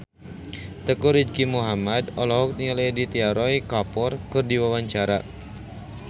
Teuku Rizky Muhammad olohok ningali Aditya Roy Kapoor keur diwawancara